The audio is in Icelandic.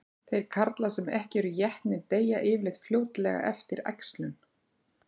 Þeir karlar sem ekki eru étnir deyja yfirleitt fljótlega eftir æxlun.